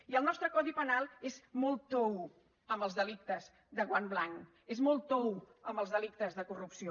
i el nostre codi penal és molt tou amb els delictes que guant blanc és molt tou amb els delictes de corrupció